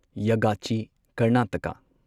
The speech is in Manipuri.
ꯌꯥꯒꯆꯤ ꯀꯔꯅꯥꯇꯀꯥ